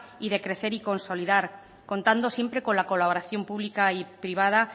y de crecer y consolidar contando siempre con la colaboración pública y privada